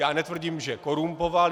Já netvrdím, že korumpoval.